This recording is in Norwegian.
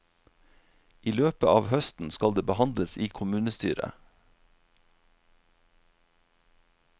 I løpet av høsten skal det behandles i kommunestyret.